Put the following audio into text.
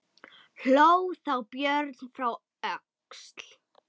Hló þá Björn frá Öxl.